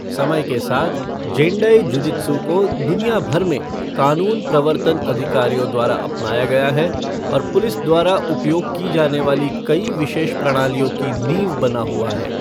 समय के साथ, जेंडाई जुजित्सु को दुनिया भर में कानून प्रवर्तन अधिकारियों द्वारा अपनाया गया है और पुलिस द्वारा उपयोग की जाने वाली कई विशेष प्रणालियों की नींव बना हुआ है।